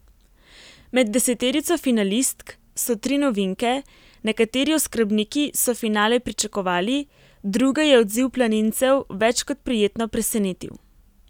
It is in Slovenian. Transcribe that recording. Med deseterico finalistk so tri novinke, nekateri oskrbniki so finale pričakovali, druge je odziv planincev več kot prijetno presenetil.